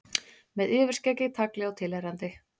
Með yfirskeggi, tagli og tilheyrandi.